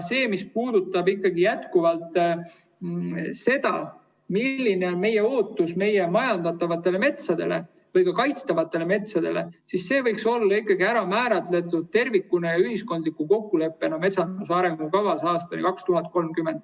Mis puudutab seda, milline on meie ootus majandatavatele või ka kaitstavatele metsadele, siis see võiks olla ikkagi tervikuna ja ühiskondliku kokkuleppena ära määratud metsanduse arengukavas aastani 2030.